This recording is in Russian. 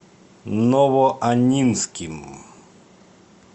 новоаннинским